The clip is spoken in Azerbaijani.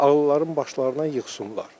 Ağılların başlarına yıxsınlar.